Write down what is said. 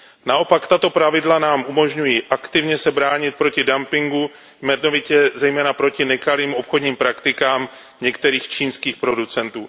Naopak tato pravidla nám umožňují aktivně se bránit proti dumpingu, jmenovitě zejména proti nekalým obchodním praktikám některých čínských producentů.